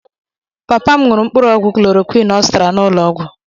Papa m ṅụrụ mkpụrụogwụ klorokwịn ọ zụtara n'ụlọọgwụ.